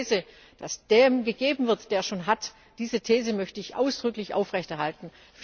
Das heißt, die These, dass dem gegeben wird, der schon hat, diese These möchte ich ausdrücklich aufrechterhalten!